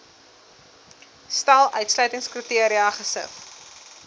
stel uitsluitingskriteria gesif